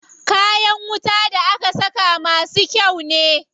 Kayan wuta da aka saka masu kyau ne.